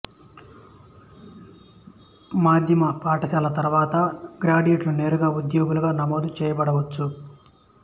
మాధ్యమ పాఠశాల తర్వాత గ్రాడ్యుయేట్లు నేరుగా ఉద్యోగులుగా నమోదు చేయబడవచ్చు